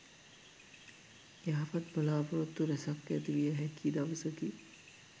යහපත් බලා‍පොරොත්තු රැසක් ඇතිවිය හැකි දවසකි.